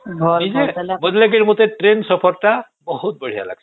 ମତେ ଲାଗିଲା ମତେ ଟ୍ରେନ ସଫର ଟା ବହୁତ ବଢିଆ ଲାଗିଁସେ